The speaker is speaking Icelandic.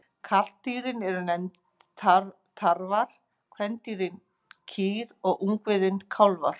Karldýrin eru nefnd tarfar, kvendýrin kýr og ungviðið kálfar.